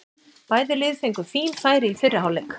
Bæði lið fengu fín færi í fyrri hálfleik.